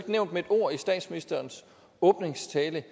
nævnt med et ord i statsministerens åbningstale